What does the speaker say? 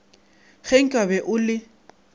ge nka be o le